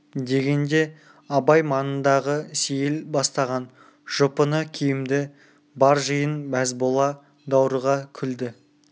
дегенде абай маңындағы сейіл бастаған жұпыны киімді бар жиын мәз бола даурыға күлді